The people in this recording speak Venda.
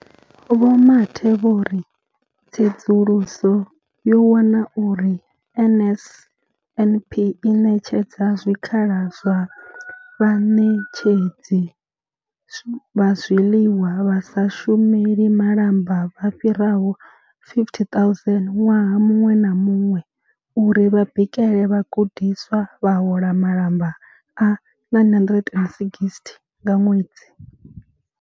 Vho Mathe vho ri. Tsedzuluso yo wana uri NSNP i ṋetshedza zwikhala kha vhaṋetshedzi vha zwiḽiwa vha sa shumeli malamba vha fhiraho 50 000 ṅwaha muṅwe na muṅwe uri vha bikele vhagudiswa, vha hola malamba a R960 nga ṅwedzi.